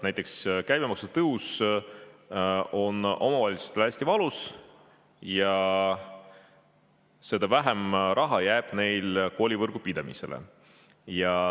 Näiteks käibemaksu tõus on omavalitsustele hästi valus ja seda vähem raha jääb neil koolivõrgu pidamiseks.